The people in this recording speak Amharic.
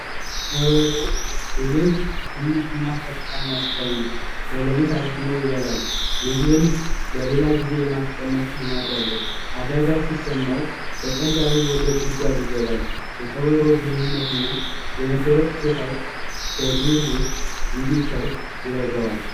ቀበሮ ትንሽ እና ብልህ አዳኝ ነው በሌሊት አድኖ ይበላል ምግብን ለሌላ ጊዜ የማስቀመጥ ልማድ አለው አደጋ ሲሰማው በቀላሉ ወደ ጉድጓድ ይገባል የቀበሮ ብልህነትና የመደበቅ ችሎታው በዱር ውስጥ እንዲተርፍ ይረዳዋል።